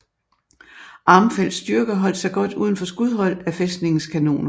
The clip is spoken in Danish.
Armfeldts styrker holdt sig godt udenfor skudhold af fæstningens kanoner